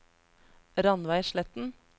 Rannveig Sletten